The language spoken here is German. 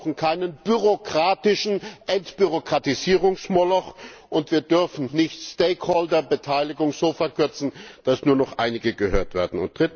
Wir brauchen keinen bürokratischen Entbürokratisierungsmoloch, und wir dürfen die Stakeholder Beteiligung nicht so verkürzen, dass nur noch einige gehört werden.